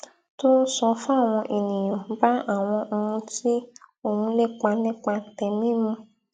tó n sọ fáwọn ènìyàn bá àwọn ohun tí òun ń lépa nípa tèmí mu